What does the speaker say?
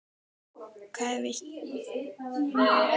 Hvað ef ég stæðist ekki námskröfurnar?